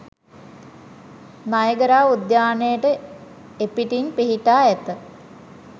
Niagara උද්‍යානයට එපිටින් පිහිටා ඇත